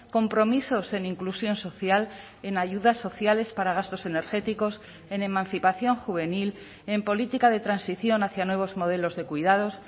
compromisos en inclusión social en ayudas sociales para gastos energéticos en emancipación juvenil en política de transición hacia nuevos modelos de cuidados